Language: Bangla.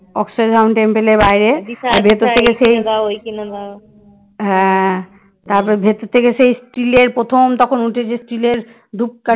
হ্যাঁ তারপর ভেতর থেকে সেই steel র প্রথম তখন উঠেছে steel র ধুপ